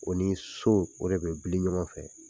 O ni so, o de be bili ɲɔgɔn fɛ.